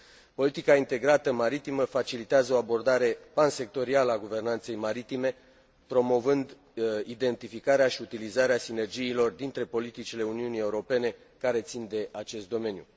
Politica integrată maritimă facilitează o abordare pansectorială a guvernanței maritime, promovând identificarea și utilizarea sinergiilor dintre politicile Uniunii Europene care țin de acest domeniu.